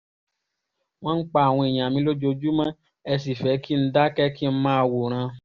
wọ́n ń pa àwọn èèyàn mi lójoojúmọ́ ẹ sì fẹ́ kí n dákẹ́ kí n máa wòran